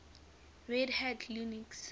red hat linux